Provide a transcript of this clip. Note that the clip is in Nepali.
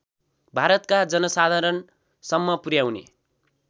भारतका जनसाधारणसम्म पुर्‍याउने